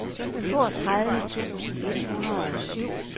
toogtredive tusind et hundrede og syv